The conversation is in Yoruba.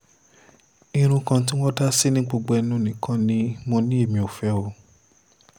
irun kan tí wọ́n dá sí ní gbogbo ẹnu nìkan ni mo ní èmi ò fẹ́ o